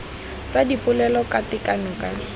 tsa dipolelo ka tekano ka